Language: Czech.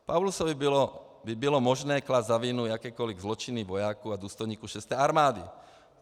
Paulusovi by bylo možné klást za vinu jakékoliv zločiny vojáků a důstojníků šesté armády.